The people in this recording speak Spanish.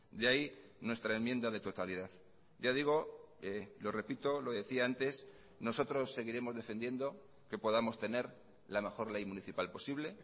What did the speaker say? de ahí nuestra enmienda de totalidad ya digo lo repito lo decía antes nosotros seguiremos defendiendo que podamos tener la mejor ley municipal posible